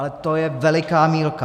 Ale to je veliká mýlka.